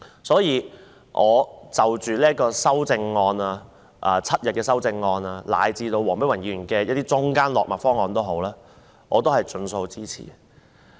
所以，無論是要求增至7日的修正案以至黃碧雲議員的中間落墨方案，我也會盡數支持。